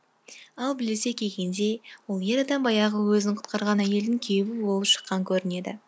ал білісе келгенде ол ер адам баяғы өзін құтқарған әйелдің күйеуі болып шыққан көрінеді